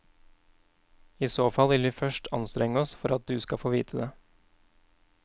I så fall vil vi først anstrenge oss for at du skal få vite det.